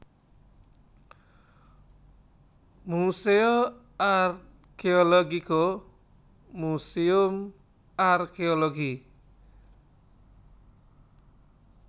Museo Archeologico Museum Arkéologi